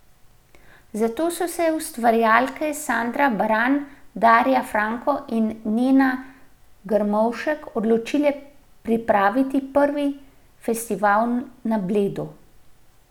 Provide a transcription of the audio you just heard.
Zato so se ustvarjalke Sandra Baran, Darja Franko in Nena Grmovšek odločile pripraviti prvi festival na Bledu.